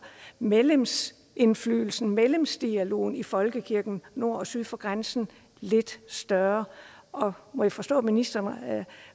medlemsindflydelsen og medlemsdialogen i folkekirken nord og syd for grænsen lidt større må jeg forstå ministeren